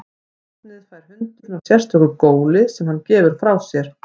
Nafnið fær hundurinn af sérstöku góli sem hann gefur frá sér.